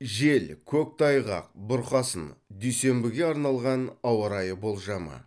жел көктайғақ бұрқасын дүйсенбіге арналған ауа райы болжамы